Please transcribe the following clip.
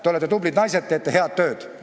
Te olete tublid naised, te teete head tööd.